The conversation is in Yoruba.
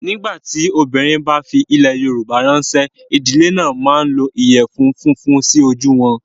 Nígbà tí obìnrin bá fi ilẹ̀ Yorùbá ránṣẹ́, ìdílé náà máa ń lo ìyẹ̀fun funfun sí ojú wọn.